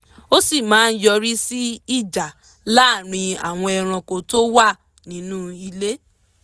ó sì máa yọrí sí ìjà láàárín àwọn ẹranko tó wà nínú ilé